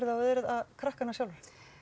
á eða er það krakkanna sjálfra